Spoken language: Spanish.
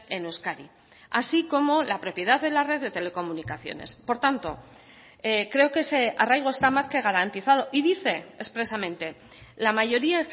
en euskadi así como la propiedad de la red de telecomunicaciones por tanto creo que ese arraigo está más que garantizado y dice expresamente la mayoría